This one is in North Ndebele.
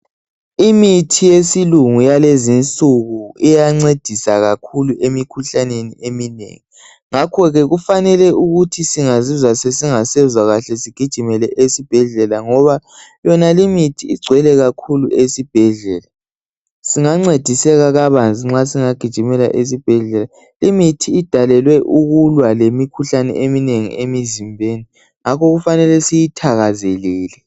Imithi yesilungu yalezi nsuku iyancedisa kakhulu emikhuhlaneni eminengi ngakhoke kufanele ukuthi singazizwa sesingasezwa kahle sigijimele esibhedlela ngoba yonalimithi igcwele kakhulu esibhedlela, singancediseka kabanzi nxa singagijimela esibhedlela imithi idalelwe ukulwa lemikhuhlane eminengi emizimbeni ngakho kufanele siyithakazelele.